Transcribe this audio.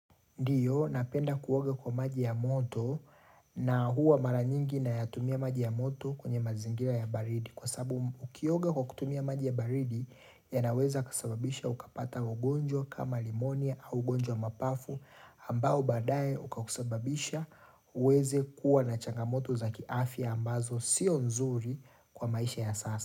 Ndiyo, napenda kuoga kwa maji ya moto na huwa mara nyingi nayatumia maji ya moto kwenye mazingira ya baridi. Kwa sababu, ukioga kwa kutumia maji ya baridi yanaweza kusababisha ukapata ugonjwa kama limonia au ugonjwa wa mapafu ambao baadaye ukakusababisha uweze kuwa na changamoto za kiafya ambazo sio nzuri kwa maisha ya sasa.